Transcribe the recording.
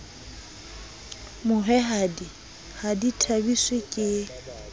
mohwehadi ha di thabiswe ke